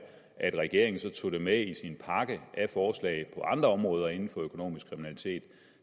at regeringen tog det med i sin pakke af forslag på andre områder inden for økonomisk kriminalitet